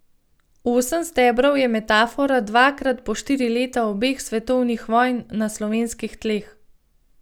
Osem stebrov je metafora dvakrat po štiri leta obeh svetovnih vojn na slovenskih tleh.